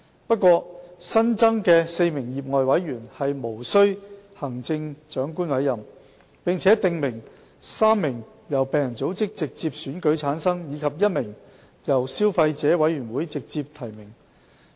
不過，新增的4名業外委員無須經由行政長官委任，並訂明其中3人由病人組織直接選舉產生，而其餘1人則由消費者委員會直接提名。